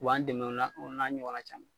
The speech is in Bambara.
U b'an dɛmɛ o la , o n'a ɲɔgɔna caman.